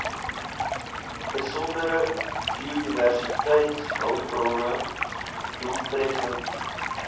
besondere biodiversiteitshulpbronne doeltreffend